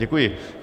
Děkuji.